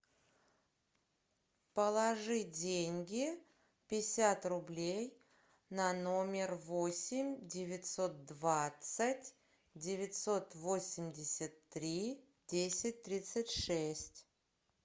положи деньги пятьдесят рублей на номер восемь девятьсот двадцать девятьсот восемьдесят три десять тридцать шесть